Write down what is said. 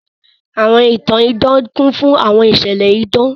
Àwọn ìtan-ìdan kùn fùn àwọn ìṣẹ̀lẹ̀ ìdan.